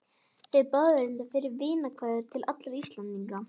Þeir báðu reyndar fyrir vinarkveðjur til allra Íslendinga.